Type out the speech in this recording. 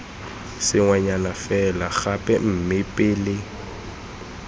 sengwenyana fela gape mme pele